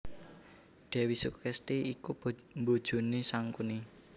Dèwi Sukesti iku bojoné Sangkuni